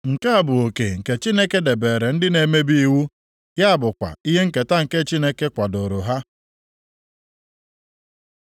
Nke a bụ oke nke Chineke debeere ndị na-emebi iwu, ya bụkwa ihe nketa nke Chineke kwadooro ha.”